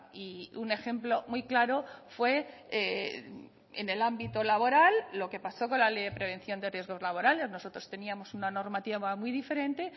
y un ejemplo muy claro fue en el ámbito laboral lo que pasó con la ley de prevención de riesgos laborales nosotros teníamos una normativa muy diferente